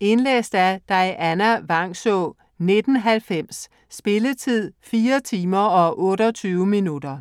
Indlæst af Dianna Vangsaa, 1990. Spilletid: 4 timer, 28 minutter.